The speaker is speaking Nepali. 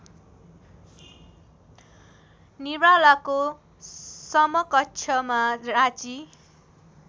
निरालाको समकक्षमा राँची